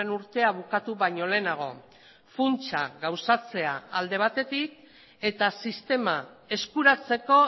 urtea bukatu baino lehenago funtsa gauzatzea alde batetik eta sistema eskuratzeko